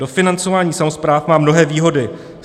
Dofinancování samospráv má mnohé výhody.